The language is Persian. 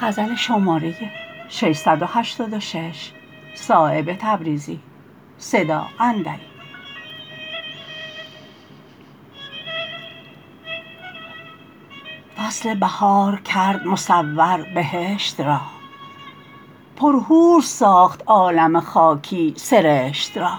فصل بهار کرد مصور بهشت را پر حور ساخت عالم خاکی سرشت را